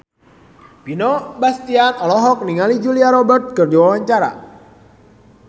Vino Bastian olohok ningali Julia Robert keur diwawancara